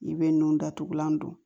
I bɛ nun datugulan don